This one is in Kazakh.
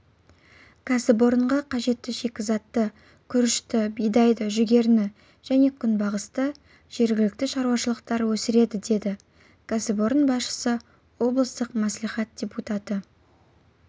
кәсіпорынға қажетті шикізатты күрішті бидайды жүгеріні және күнбағысты жергілікті шаруашылықтар өсіреді деді кәсіпорын басшысы облыстық мәслихат депутаты